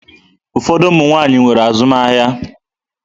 Ụfọdụ ụmụ nwaanyị nwere azụmahịa.